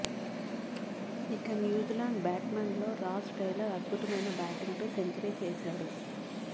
ఇక న్యూజిలాండ్ బ్యా ట్స్మన్లలో రాస్ టేలర్ అద్భుతమైన బ్యాటింగ్తో సెంచ రీ చేశాడు